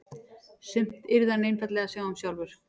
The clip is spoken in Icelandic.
Sumt yrði hann einfaldlega að sjá um sjálfur.